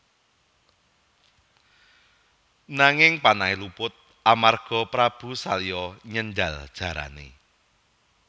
Nanging panahé luput amarga Prabu Salya nyendhal jarané